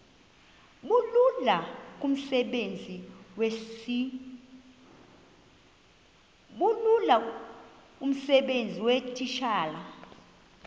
bulula kumsebenzi weetitshala